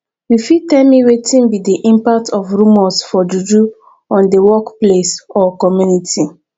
you fit tell me wetin be di impact of rumors for juju on di workplace or community